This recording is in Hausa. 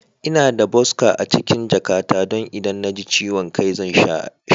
Ina da boska a cikin jakata don idan na ji ciwon kai zan sha shi.